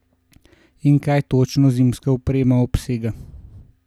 In kaj točno zimska oprema obsega?